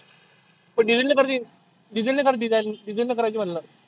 पण diesel नी करतील. diesel नी कर diesel नी करायची म्हटलं.